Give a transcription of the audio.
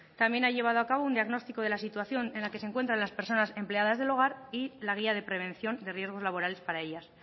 también ha llevado a cabo un diagnóstico de la situación en la que se encuentran las personas empleadas del hogar y la guía de prevención de riesgos laborales para ellas